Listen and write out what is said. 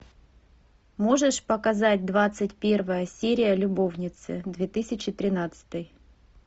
можешь показать двадцать первая серия любовницы две тысячи тринадцатый